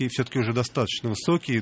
и всё-таки уже достаточно высокие